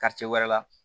wɛrɛ la